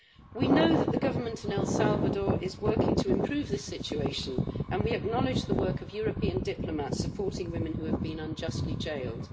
We know that the Government in El Salvador is working to improve this situation and we acknowledge the work of European diplomats supporting women who have been unjustly jailed.